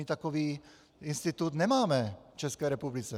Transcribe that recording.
My takový institut nemáme v České republice.